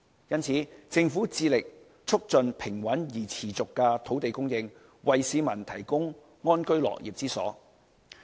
因此，政府致力促進平穩而持續的土地供應，為市民提供安居樂業之所。